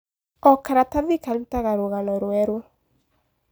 O karatati karutaga rũgano rwerũ.